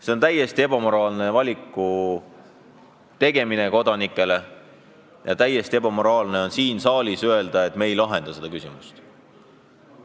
Sellise valiku ette seadmine on täiesti ebaeetiline ja täiesti ebaeetiline on siin saalis öelda, et me ei lahenda seda küsimust.